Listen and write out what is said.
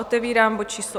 Otevírám bod číslo